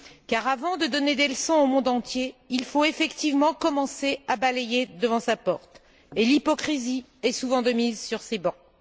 Car, avant de donner des leçons au monde entier, il faut effectivement commencer à balayer devant sa porte et l'hypocrisie est souvent de mise sur ces bancs.